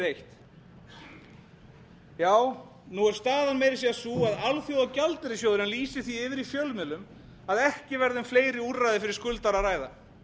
eitt já nú er staðan meira að segja sú að alþjóðagjaldeyrissjóðurinn lýsir því yfir í fjölmiðlum að ekki verði um fleiri úrræði fyrir skuldara að ræða